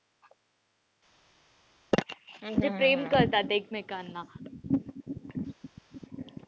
प्रेम करतात एकमेकांना.